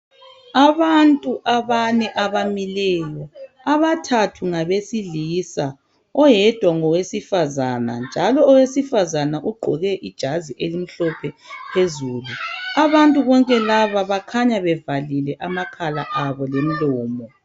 abantu abane abamileyo abathathu ngabe silisa ngowesifazana njalo owesifazana waye gqoke ijazi elimhlophe phezulu abantu bonke laba bakhanya bevalile amakhala wabo lomlomo